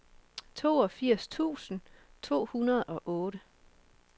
toogfirs tusind to hundrede og otte